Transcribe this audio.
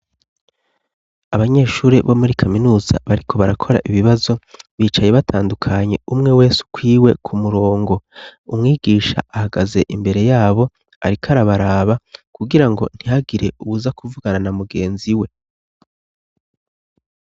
Abanyeshure bo muri kaminuza bariko barakora ibibazo bicaye batandukanye, umwe wese ukwiwe ku murongo. Umwigisha ahagaze imbere yabo, ariko arabaraba kugirango ntihagire uwuza kuvugana na mugenzi we.